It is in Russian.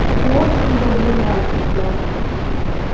ты очень добрый мальчик гарри